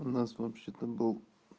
у нас вообще-то был